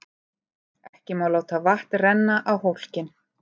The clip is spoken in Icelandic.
Ekki má láta vatn renna á hólkinn.